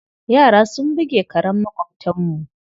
Yara sun buge karen maƙwabtanmu.